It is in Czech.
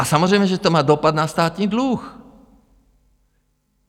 A samozřejmě že to má dopad na státní dluh.